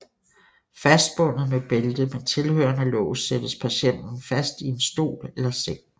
Fastbundet med bælte med tilhørende lås sættes patienten fast i en stol eller seng